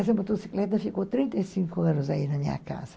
Essa motocicleta ficou trinta e cinco anos aí na minha casa.